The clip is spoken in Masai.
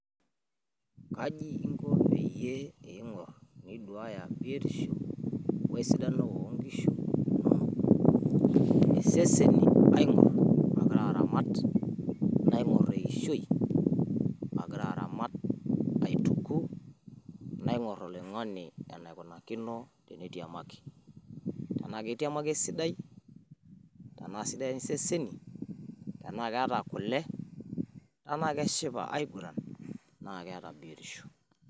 Reading the question first.